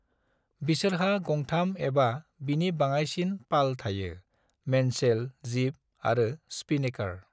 बिसोरहा गंथाम एबा बिनि बाङायसिन पाल थायो मेनसेल, जिब आरो स्पिनेकर।